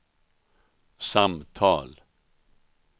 samtal